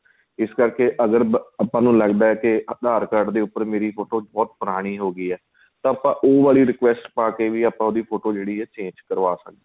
ਇਸ ਕਰਕੇ ਅਗਰ ਆਪਾਂ ਨੂੰ ਲੱਗਦਾ ਕੇ aadhar card ਦੇ ਉੱਪਰ ਫ਼ੋਟੋ ਬਹੁਤ ਪੁਰਾਣੀ ਹੋ ਗਈ ਏ ਤਾਂ ਆਪਾਂ ਉਹ ਵਾਲੀ request ਪਾਕੇ ਵੀ ਆਪਾਂ ਉਹਦੀ ਫ਼ੋਟੋ ਜਿਹੜੀ ਏ change ਕਰਵਾ ਸਕਦੇ ਹਾਂ